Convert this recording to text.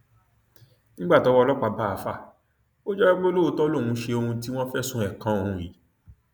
nígbà tọwọ ọlọpàá bá àáfàá ò jẹwọ pé lóòótọ lòún ṣe ohun tí wọn fẹsùn ẹ kan òun yìí